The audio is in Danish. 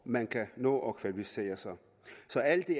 man kan nå at kvalificere sig så alt i